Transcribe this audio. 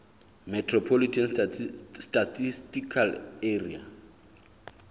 metropolitan statistical area